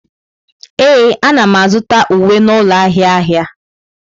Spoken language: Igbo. Ee, ana m azụta uwe n'ụlọ ahịa ahịa.